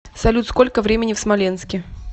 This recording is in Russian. салют сколько времени в смоленске